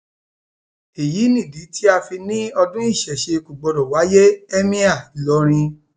èyí nìdí tá a fi ní ọdún ìṣesẹ kò gbọdọ wáyé ẹmíà ìlọrin